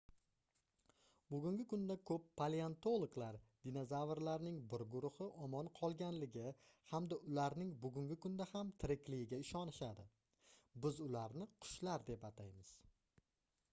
bugungi kunda koʻp paleontologlar dinozavrlarning bir guruhi omon qolganligi hamda ularning bugungi kunda ham tirikligiga ishonishadi biz ularni qushlar deb ataymiz